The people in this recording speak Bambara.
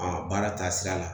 A baara taasira la